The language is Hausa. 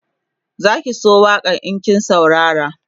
Zaki so waƙan in kin saurara